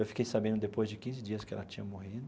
Eu fiquei sabendo depois de quinze dias que ela tinha morrido.